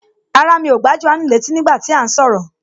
Rárá, mi ò gbà Jòhánù létí nígbà tí à ń sọ̀rọ̀